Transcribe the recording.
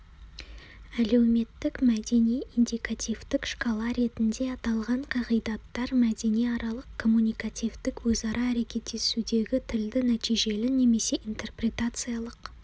әлеуметтік-мәдени индикативтік шкала ретінде аталған қағидаттар мәдениаралық-коммуникативтік өзара әрекеттесудегі тілді нәтижелі немесе интерпретациялық